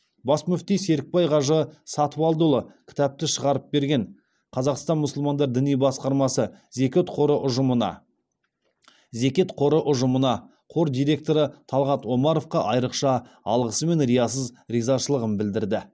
бас мүфти серікбай қажы сатыбалдыұлы кітапты шығарып берген қазақстан мұсылмандар діни басқармасы зекет қоры ұжымына зекет қоры ұжымына қор директоры талғат омаровқа айрықша алғысы мен риясыз ризашылығын білдірді